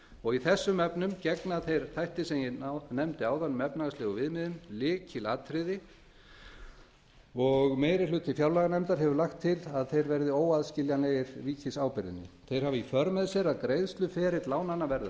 og í þessum efnum gegna þeir þættir sem ég nefndi áðan um efnahagslegu viðmiðin lykilhlutverki og meiri hluti fjárlaganefndar hefur lagt til að verði óaðskiljanlegir ríkisábyrgðinni þeir hafa í för með sér að greiðsluferill lánanna verður